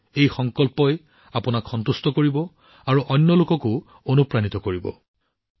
আপোনালোকে দেখিব এই সংকল্পই আপোনাক কিমান সন্তুষ্টি প্ৰদান কৰিব আৰু আন লোককো অনুপ্ৰাণিত কৰিব